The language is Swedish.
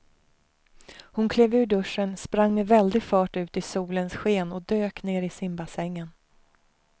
Hon klev ur duschen, sprang med väldig fart ut i solens sken och dök ner i simbassängen.